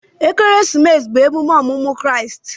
Ekeresimesi bụ emume ọmụmụ Kraịst.